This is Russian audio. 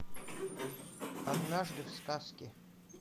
однажды в сказке